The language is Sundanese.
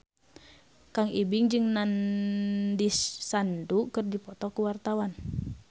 Kang Ibing jeung Nandish Sandhu keur dipoto ku wartawan